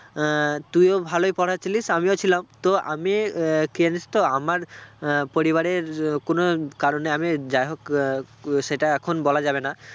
আহ তুই ও ভালোই পড়ায় ছিলিস আমিও ছিলাম তো আমি আহ কি জানিস তো আমার আহ পরিবারের কোনও কারণে আমি যাই হোক আহ সেটা এখন বলা যাবে না